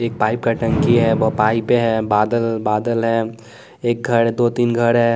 एक पाइप का टंकी है वो पाइप है बादल बादल है एक घर दो तीन घर है।